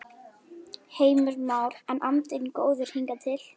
Heimir Már: En andinn góður hingað til?